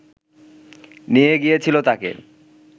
নিয়ে গিয়েছিল তাকে